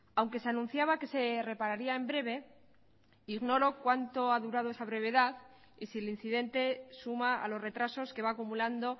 aunque se anunciaba que se repararía en breve ignoro cuánto ha durado esa brevedad y si el incidente suma a los retrasos que va acumulando